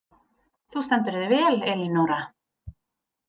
Þú stendur þig vel, Elínora!